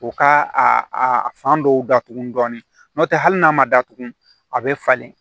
U ka a fan dɔw datugu dɔɔnin n'o tɛ hali n'a ma datugu a bɛ falen